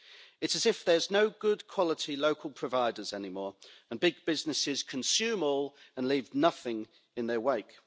It's as if there are no good quality local providers anymore, and big businesses consume all and leave nothing in their wake.